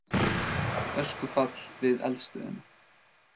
Öskufall við eldstöðina